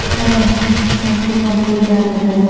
এখানে চারটি কম্পিউটার দেখা যাচে--